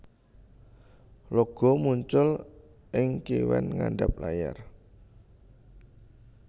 Logo muncul ing kiwen ngandap layar